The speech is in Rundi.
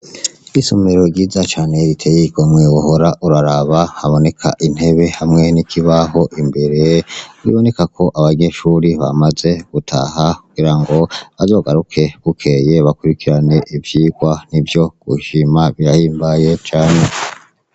Isommero ryiza cane riteye ikomweuhora uraraba haboneka intebe hamwene ikibaho imbere wiboneka ko abanyeshuri bamaze gutaha kugira ngo azogaruke gukeye bakurikirane ivyirwa ni vyo gushima birahimbaye cane.